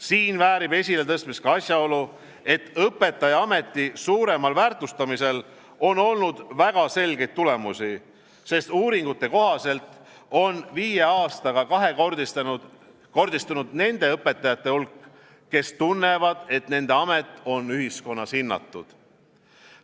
Siin väärib esiletõstmist ka asjaolu, et õpetajaameti suuremal väärtustamisel on olnud väga selgeid tulemusi, sest uuringute kohaselt on viie aastaga kahekordistunud nende õpetajate hulk, kes tunnevad, et nende amet on ühiskonnas hinnatud.